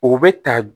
U bɛ ta